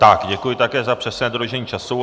Tak děkuji také za přesné dodržení času.